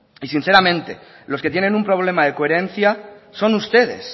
y sinceramente los que tienen un problema de coherencia son ustedes